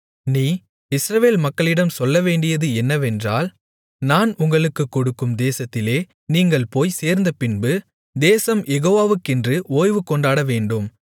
நீ இஸ்ரவேல் மக்களிடம் சொல்லவேண்டியது என்னவென்றால் நான் உங்களுக்குக் கொடுக்கும் தேசத்திலே நீங்கள் போய்ச் சேர்ந்தபின்பு தேசம் யெகோவாவுக்கென்று ஓய்வு கொண்டாடவேண்டும்